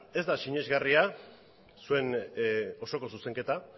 ez da sinesgarria zuen osoko zuzenketa